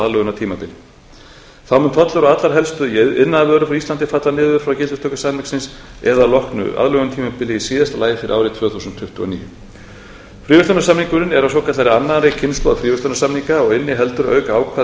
aðlögunartímabili þá mun tollur af öllum helstu iðnaðarvörum frá íslandi falla niður frá gildistöku samningsins eða að loknu aðlögunartímabili í síðasta lagi fyrir árið tvö þúsund tuttugu og níu fríverslunarsamningurinn er af svokallaðri annarri kynslóð fríverslunarsamninga og inniheldur auk ákvæða um